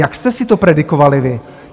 Jak jste si to predikovali vy?